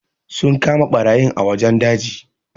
Sun kama barayin a wajen daji.